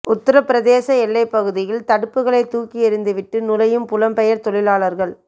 உத்தரப் பிரதேச எல்லைப்பகுதியில் தடுப்புகளைத் தூக்கி எறிந்து விட்டு நுழையும் புலம்பெயர் தொழிலாளர்கள்